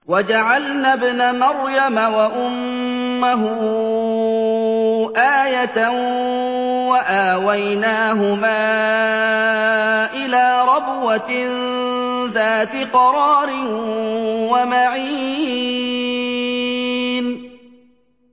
وَجَعَلْنَا ابْنَ مَرْيَمَ وَأُمَّهُ آيَةً وَآوَيْنَاهُمَا إِلَىٰ رَبْوَةٍ ذَاتِ قَرَارٍ وَمَعِينٍ